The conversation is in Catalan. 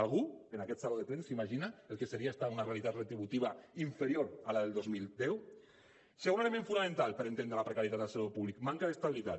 algú en aquest saló de plens s’imagina el que seria estar en una realitat retributiva inferior a la del dos mil deu segon element fonamental per entendre la precarietat al sector públic manca d’estabilitat